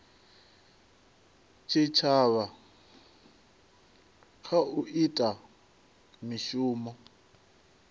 tshitshavha kha u ita mishumo